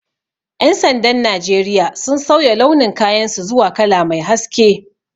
Ƴan sandan Najeriya sun sauya launin kayan su zuwa kala mai haske